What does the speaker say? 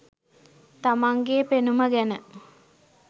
තමන්ගේ පෙනුම ගැන.